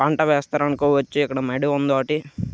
పంట వేస్తారనుకో వచ్చి ఇక్కడ మడి ఉంది ఒకటి.